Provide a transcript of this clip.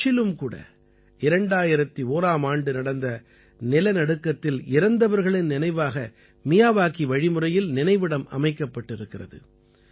கட்சிலும் கூட 2001ஆம் ஆண்டு நடந்த நிலநடுக்கத்தில் இறந்தவர்களின் நினைவாக மியாவாகி வழிமுறையில் நினைவிடம் அமைக்கப்பட்டிருக்கிறது